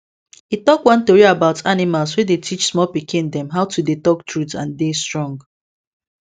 e talk one tori about animals wey dey teach small pikin dem how to dey talk truth and dey strong